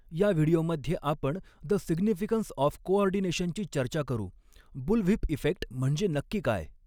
या व्हिडिओमध्ये आपण द सिग्निफिकन्स ऑफ कोऑर्डिनेशनची चर्चा करूः बुलव्हिप इफेक्ट म्हणजे नक्की काय?